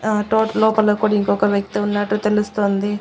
ఆ తోట్ లోపల కూడ్ ఇంకొక వ్యక్తి ఉన్నట్టు తెలుస్తుంది.